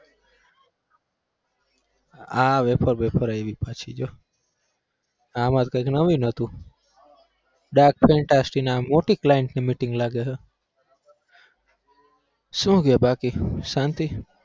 આ wafer wafer આઈવી પછી જો આમાં કઈક નવીન હતું dark fantasy ના મોટી client ની meeting લાગે છે શું કે બાકી શાંતિ?